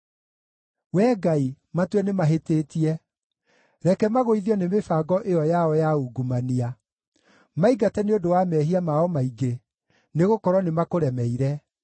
Wee Ngai, matue nĩmahĩtĩtie! Reke magũithio nĩ mĩbango ĩyo yao ya ungumania. Maingate nĩ ũndũ wa mehia mao maingĩ, nĩgũkorwo nĩmakũremeire.